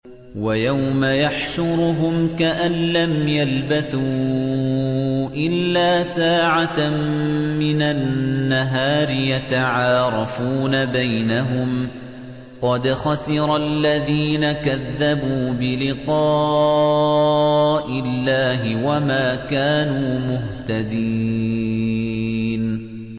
وَيَوْمَ يَحْشُرُهُمْ كَأَن لَّمْ يَلْبَثُوا إِلَّا سَاعَةً مِّنَ النَّهَارِ يَتَعَارَفُونَ بَيْنَهُمْ ۚ قَدْ خَسِرَ الَّذِينَ كَذَّبُوا بِلِقَاءِ اللَّهِ وَمَا كَانُوا مُهْتَدِينَ